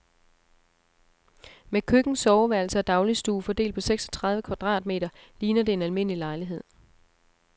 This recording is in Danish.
Med køkken, soveværelse og dagligstue fordelt på seksogtredive kvadratmeter ligner det en almindelig lejlighed.